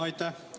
Aitäh!